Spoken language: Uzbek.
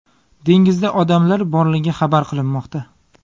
Dengizda odamlar borligi xabar qilinmoqda.